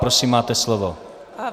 Prosím, máte slovo.